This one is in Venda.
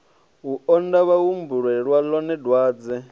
u onda vhahumbulela ḽone dwadze